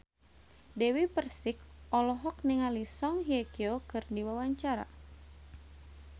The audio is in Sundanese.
Dewi Persik olohok ningali Song Hye Kyo keur diwawancara